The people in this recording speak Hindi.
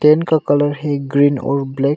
टेंट का कलर है ग्रीन और ब्लैक ।